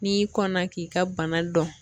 N'i kɔnna k'i ka bana dɔn